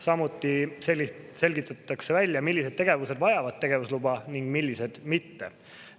Samuti selgitatakse välja, millised tegevused vajavad tegevusluba ning millised mitte.